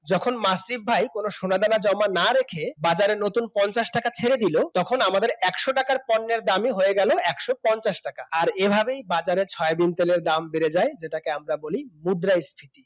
যখন মাসুদ ভাই কোন সোনা দানা জমা না রেখে বাজারে নতুন পঞ্চাশ টাকা ছেড়ে দিল তখন আমাদের একশো টাকার পণ্যের দামি হয়ে গেল একশপঞ্চাশ টাকা আর এভাবেই বাজারে সয়াবিন তেলের দাম বেড়ে যায় যেটাকে আমরা বলি মুদ্রাস্ফীতি।